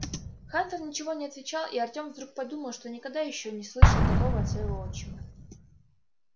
хантер ничего не отвечал и артём вдруг подумал что никогда он ещё не слышал такого от своего отчима